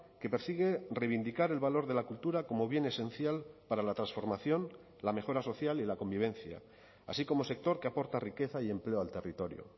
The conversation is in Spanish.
que persigue reivindicar el valor de la cultura como bien esencial para la transformación la mejora social y la convivencia así como sector que aporta riqueza y empleo al territorio